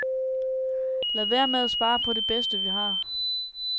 Lad være med at spare på det bedste vi har.